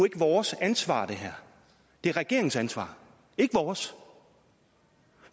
ikke vores ansvar det er regeringens ansvar ikke vores